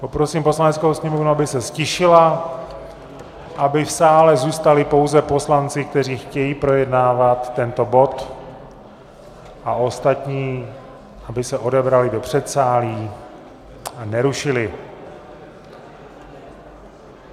Poprosím Poslaneckou sněmovnu, aby se ztišila, aby v sále zůstali pouze poslanci, kteří chtějí projednávat tento bod, a ostatní, aby se odebrali do předsálí a nerušili...